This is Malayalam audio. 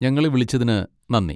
ഞങ്ങളെ വിളിച്ചതിന് നന്ദി.